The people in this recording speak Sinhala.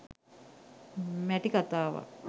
මැටි කතාවක්